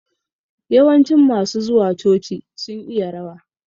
Yawancin masu zuwa coci sun iya rawa